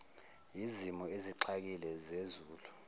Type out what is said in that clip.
yizimo ezixakile zezulu